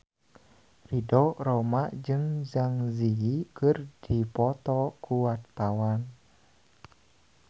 Ridho Roma jeung Zang Zi Yi keur dipoto ku wartawan